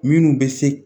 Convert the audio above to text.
Minnu bɛ se